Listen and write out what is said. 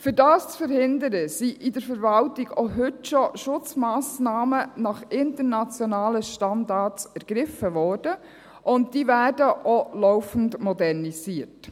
Um dies zu verhindern, wurden in der Verwaltung auch heute schon Schutzmassnahmen nach internationalen Standards ergriffen, und diese werden auch laufend modernisiert.